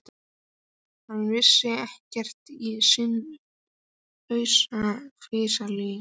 Hann vissi ekkert í sinn haus, flissaði Lilla.